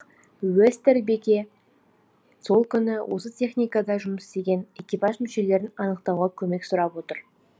уестербеке сол күні осы техникада жұмыс істеген экипаж мүшелерін анықтауға көмек сұрап отыр